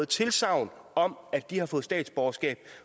tilsagn om at de har fået statsborgerskab